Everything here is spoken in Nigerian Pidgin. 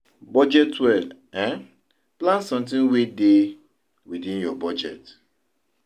Budget well, um plan something wey dey within your budget